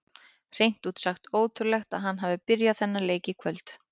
Hreint út sagt ótrúlegt að hann hafi byrjað þennan leik í kvöld.